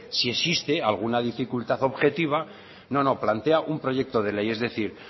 si existe alguna dificultar objetiva no no plantea un proyecto de ley es decir